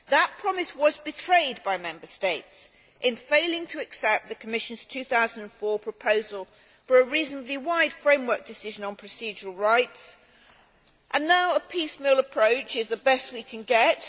That promise was betrayed by Member States in failing to accept the Commission's 2004 proposal for a reasonably wide framework decision on procedural rights, and now a piecemeal approach is the best we can get.